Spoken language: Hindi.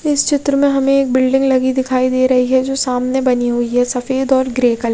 इस चित्र में हमे एक बिल्डिंग लगी दिखाई दे रही है जो सामने बानी हुयी है सफ़ेद और ग्रे कलर --